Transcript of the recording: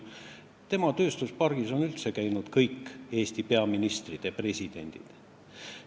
Tema tööstuspargis on üldse kõik Eesti peaministrid ja presidendid käinud.